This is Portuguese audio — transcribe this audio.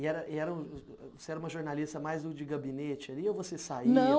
E era e era um você era uma jornalista mais o de gabinete ali, ou você saía Não